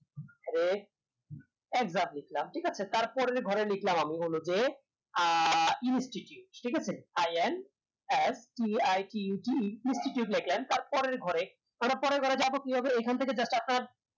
exact লিখলাম ঠিক আছে তারপরের ঘরে লিখলাম আমি হলো যে আহ institute ঠিক আছে i n r t a r t u t e লিখলাম তার পরে ঘরে এবার পরের ঘরে যাবো কি ভাবে এখন থেকে